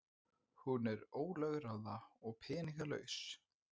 Hún er ólögráða og peningalaus.